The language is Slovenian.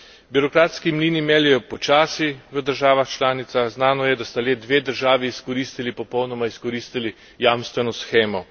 Birokratski mlini meljejo počasi v državah članicah, znano je, da sta le dve državi izkoristili, popolnoma izkoristili jamstveno shemo.